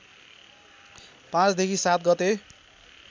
५ देखि ७ गते